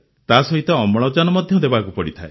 ତାସହିତ ଅମ୍ଳଜାନ ମଧ୍ୟ ଦେବାକୁ ପଡ଼ିଥାଏ